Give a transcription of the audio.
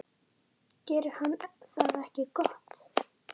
Gerir hann það ekki gott?